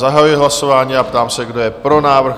Zahajuji hlasování a ptám se, kdo je pro návrh?